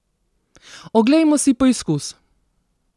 Oglejmo si poizkus!